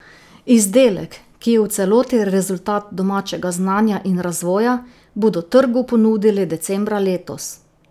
Izdelek, ki je v celoti rezultat domačega znanja in razvoja, bodo trgu ponudili decembra letos.